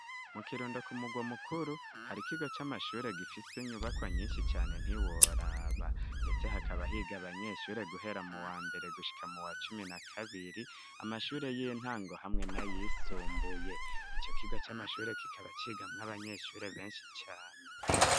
Mu kirundo ku murwa mukuru hari kigo camashure gifise nyubako nyinshi cane ntiworaba .Ndetse hakaba higa abanyeshure guhera mu wa mbere gushika mu wa cumi na kabiri. Amashure y'intango hamwe na yisumbuye ico kigo camashure kikaba cigamw'abanyeshure benshi cane.